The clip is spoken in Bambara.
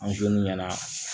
ɲɛna